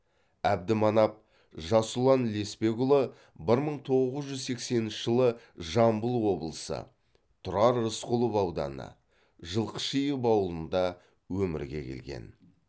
әбдіманап жасұлан лесбекұлы бір мың тоғыз жүз сексенінші жылы жамбыл облысы тұрар рысқұлов ауданы жылқышиев ауылында өмірге келген